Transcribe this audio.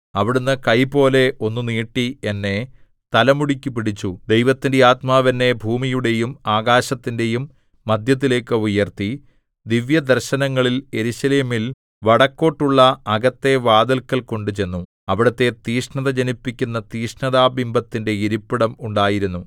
അവിടുന്ന് കൈപോലെ ഒന്ന് നീട്ടി എന്നെ തലമുടിക്കു പിടിച്ചു ദൈവത്തിന്റെ ആത്മാവ് എന്നെ ഭൂമിയുടെയും ആകാശത്തിന്റെയും മദ്ധ്യത്തിലേക്ക് ഉയർത്തി ദിവ്യദർശനങ്ങളിൽ യെരൂശലേമിൽ വടക്കോട്ടുള്ള അകത്തെ വാതില്ക്കൽ കൊണ്ടുചെന്നു അവിടെ തീഷ്ണത ജനിപ്പിക്കുന്ന തീക്ഷ്ണതാ ബിംബത്തിന്റെ ഇരിപ്പിടം ഉണ്ടായിരുന്നു